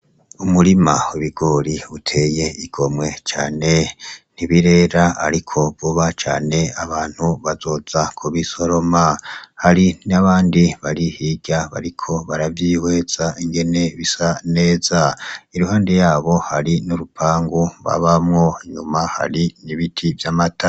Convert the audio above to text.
Umurima w'ibigori uteye igomwe cane nti birera ariko vuba cane abantu bazoza ku bisoroma hari n'abandi bari hirya bariko baravyihweza ingene bisa neza iruhande yabo hari n'urupangu ababamo inyuma hari ibiti vy'amatara.